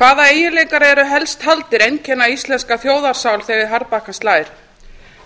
hvaða eiginleikar eru helst taldir einkenna íslenska þjóðarsál þegar í harðbakkann slær